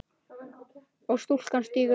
og stúlkan stígur dansinn